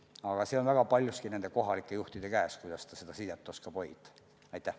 Aga see on väga paljuski kohalike juhtide käes, kuidas nad seda sidet oskavad hoida.